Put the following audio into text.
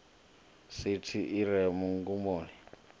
sithi i re mugumoni wa